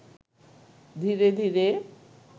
ধীরে ধীরে